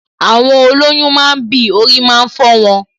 Àwọn olọ́yún máa ń bì, orí máa ń fọ wọn